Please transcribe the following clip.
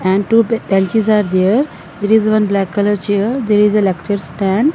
and two ben benches are there there is one black colour there is a lecture stand.